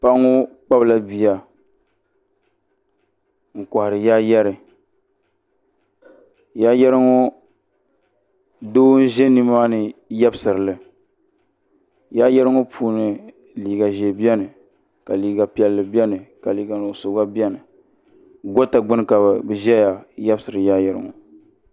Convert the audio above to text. Paɣa ŋɔ kpabila bia n kohari yaayɛri yaayɛri ŋɔ foo n ʒɛ nimaani yebsirili yaayɛri ŋɔ puuni liiga ʒee biɛni ka liiga piɛlli biɛni ka liiga nuɣuso gba biɛni goota gbini ka bɛ ʒɛya yebsiri yaayɛri ŋɔ.